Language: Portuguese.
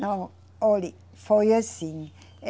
Não, olhe, foi assim.